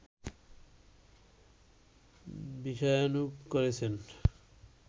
বিষয়ানুগ করেছেন